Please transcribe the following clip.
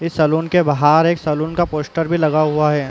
इस सलून के बाहर एक सलून का पोस्टर भी लगा हुआ है।